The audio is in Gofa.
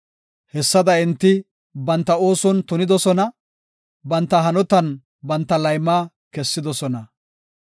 Hessada enti banta ooson tunidosona; banta hanotan banta layma kessidosona.